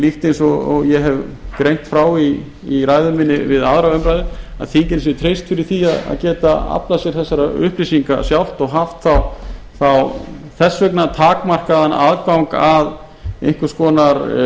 líkt og ég hef greint frá í ræðu minni við aðra umræðu að þinginu sé treyst fyrir því að getað aflað sér þessara upplýsinga sjálft og haft þá þess vegna takmarkaðan aðgang að einhvers konar